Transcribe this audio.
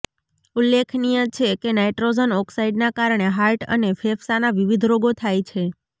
ઉલ્લેખનીય છે કે નાઈટ્રોજન ઓક્સાઈડના કારણે હાર્ટ અને ફેફસાના વિવિધ રોગો થાય છે